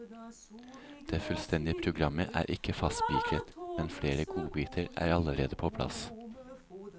Det fullstendige programmet er ikke fastspikret, men flere godbiter er allerede på plass.